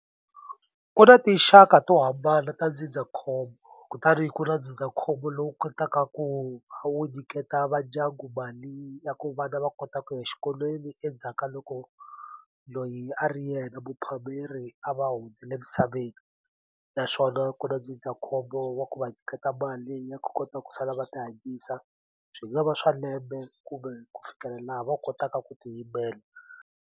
Ku na tinxaka to hambana ta ndzindzakhombo kutani ku na ndzindzakhombo lowu kotaka ku a wu nyiketa vandyangu mali ya ku vana va kota ku ya xikolweni endzhaka loko loyi a ri yena muphakeri a va hundzile misaveni naswona ku na ndzindzakhombo wa ku va nyiketa mali ya ku kota ku sala va ti hanyisa byi nga va swa lembe kumbe ku fikela laha va kotaka ku tiyimela.